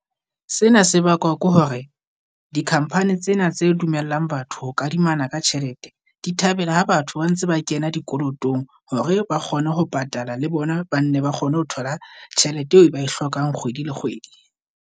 Sena se bakwa ke hore di-company tsena tse dumellang batho ho kadimana ka tjhelete, di thabela ha batho ba ntse ba kena dikolotong hore ba kgone ho patala. Le bona ba nna ba kgone ho thola tjhelete eo e ba e hlokang kgwedi le kgwedi.